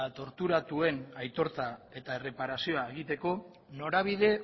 torturatuen aitortza eta erreparazioa norabide